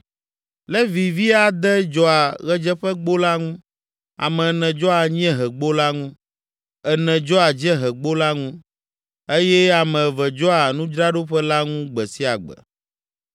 Levi vi ade dzɔa Ɣedzeƒegbo la ŋu, ame ene dzɔa anyiehegbo la ŋu, ene dzɔa dziehegbo la ŋu, eye ame eve dzɔa nudzraɖoƒe la ŋu gbe sia gbe.